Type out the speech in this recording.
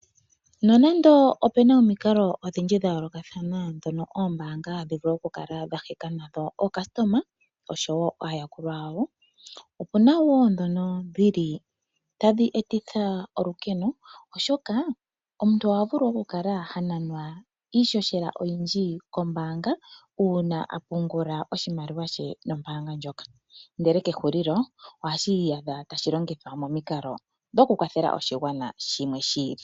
Nonando opena omikalo odhindji dha yoolokathana dhono oombanga hadhivulu okukala dhaheka nadho ookasitoma oshowo aayakulwa yawo, opu na wo dhono dhili tadhi etitha olukeno, oshoka omuntu ohavulu okukala hananwa iishosheka oyindji kombaanga uuna apungula oshimaliwa she nombaanga ndjoka, ndele kehulilo oha kiiyadha tashi longithwa momikalo okukwathela oshigwana shimwe shiili.